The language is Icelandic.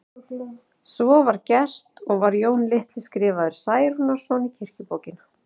Svo var gert og var Jón litli skrifaður Særúnarson í kirkjubókina.